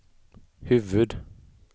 huvud-